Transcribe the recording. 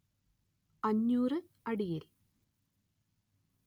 അഞ്ഞൂര്‍ അടിയിൽ